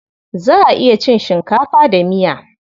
Za a iya cin shinkafa da miya.